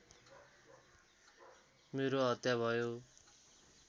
मेरो हत्या भयो